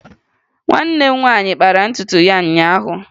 Nwanne m nwaanyị kpara ntutu ya ụnyaahụ